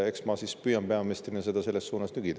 Eks ma siis püüan peaministrina seda selles suunas nügida.